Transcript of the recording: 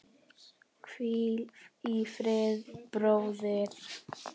Hvíl í friði, bróðir.